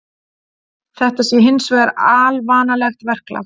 Þetta sé hins vegar alvanalegt verklag